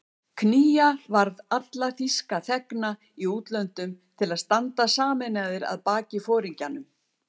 Knýja varð alla þýska þegna í útlöndum til að standa sameinaðir að baki foringjanum